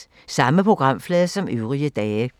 Samme programflade som øvrige dage